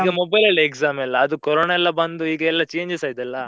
ಈಗಾ mobile ಅಲ್ಲೇ exam ಎಲ್ಲಾ ಅದು ಕೊರೊನಾ ಎಲ್ಲಾ ಬಂದು ಈಗ ಎಲ್ಲಾ changes ಆಯ್ತಲ್ಲಾ?